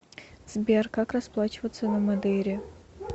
сбер как расплачиваться на мадейре